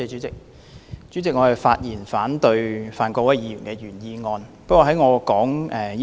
主席，我發言反對范國威議員的原議案。